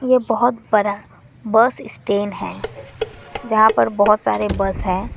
ये बहुत बड़ा बस स्टैंड है यहां पर बहुत सारे बस है।